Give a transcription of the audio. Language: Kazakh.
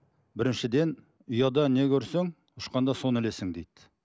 біріншіден ұядан не көрсең ұшқанда соны ілесің дейді